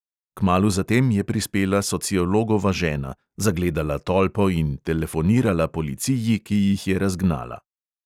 Kmalu zatem je prispela sociologova žena, zagledala tolpo in telefonirala policiji, ki jih je razgnala.